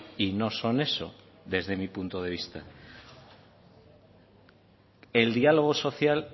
y no son eso desde mi punto de vista el diálogo social